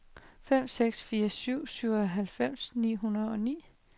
fem seks fire syv syvoghalvfems ni hundrede og ni